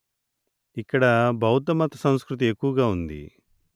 ఇక్కడ బౌద్ధమత సంస్కృతి ఎక్కువగా ఉంది